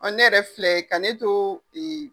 Ne yɛrɛ filɛ ka ne to ee